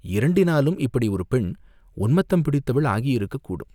இரண்டினாலும் இப்படி ஒரு பெண் உன்மத்தம் பிடித்தவள் ஆகியிருக்கக் கூடும்!